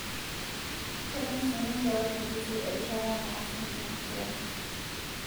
Ketum sininje wakimbisi erishata naaasi ina siaii